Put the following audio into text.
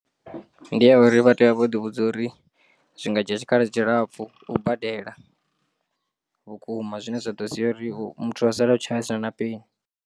Ndi ya uri vha tea u vha vho ḓi vhudza uri zwi nga dzhia tshikhala tshilapfu u badela, vhukuma zwine zwa ḓo sia uri muthu a sala o tshaya a sina na peni.